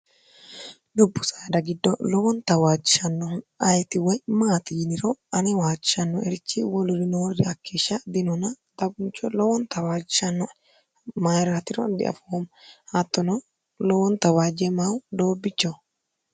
dubbu saada giddo lowonta waachishannohu ayiti woy maati yiniro ani waachishanno erichi woluri noorri akkieshsha dinuna taguncho lowonta waacishanno mayirhatiro diafoomo hattono lowonta waajje mayu doobbichoh